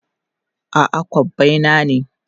A'a, kobbai na ne.